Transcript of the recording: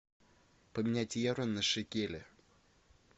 поменять евро на шекели